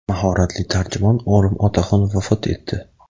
mahoratli tarjimon Olim Otaxon vafot etdi.